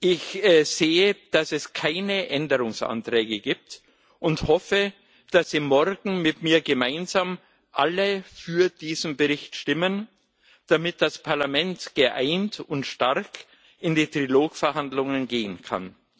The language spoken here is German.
Ich sehe, dass es keine Änderungsanträge gibt, und hoffe, dass Sie morgen alle mit mir gemeinsam für diesen Bericht stimmen, damit das Parlament geeint und stark in die Trilogverhandlungen gehen kann.